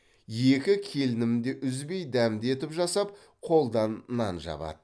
екі келінім де үзбеи дәмді етіп жасап қолдан нан жабады